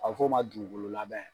A bɛ f'o ma dugukolo labɛn